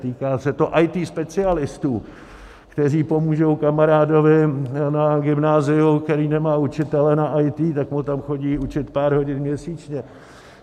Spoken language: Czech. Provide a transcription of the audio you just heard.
Týká se to IT specialistů, kteří pomůžou kamarádovi na gymnáziu, který nemá učitele na IT, tak mu tam chodí učit pár hodin měsíčně.